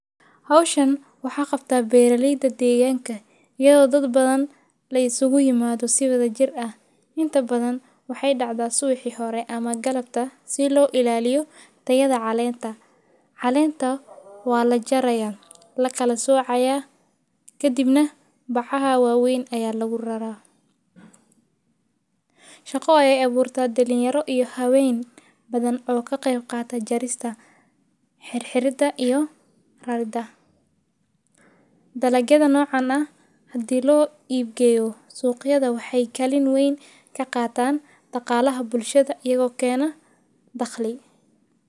Hawshan waxaa qabta beerarleyda deegaanka, iyagoo dad badan lay sugi yimaado si wada jir ah. Inta badan waxay dhacdaa suweyxi hore ama galabta si loo ilaaliyo tayada caleenta. Caleenta waa la jaraya, la kala soocaya ka dibna bacaha waaweyn ayaa lagu raraa. Shaqo ayay awoortaa dhalinyaro iyo hawayn badan oo ka qeyb qaata jarista xirxirda iyo rarida. Dalagyada noocan ah, haddii loo iibgeyo suuqyada, waxay kalin wayn ka qaataan dhaqaalaha bulshada, iyagoo keena daqli.